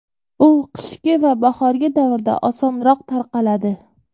U qishki va bahorgi davrda osonroq tarqaladi.